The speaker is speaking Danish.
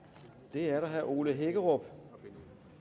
det er der herre ole hækkerup